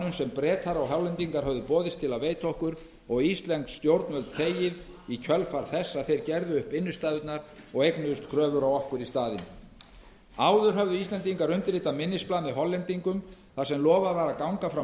sem bretar og hollendingar höfðu boðist til að veita okkur og íslensk stjórnvöld þegið í kjölfar þess að þeir gerðu upp innstæðurnar og eignuðust kröfu á okkur í staðinn áður höfðu íslendingar undirritað minnisblað með hollendingum þar sem lofað var að ganga frá